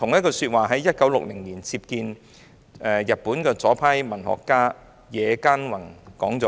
"他在1960年接見日本左派文學家野間宏時亦說過同一番話。